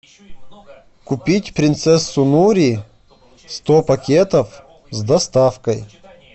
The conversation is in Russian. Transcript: купить принцессу нури сто пакетов с доставкой